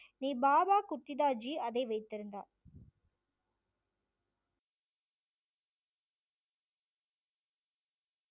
பாபா குத்திதாஜி அதை வைத்திருந்தார்.